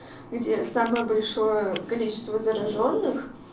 где самое большое количество заражённых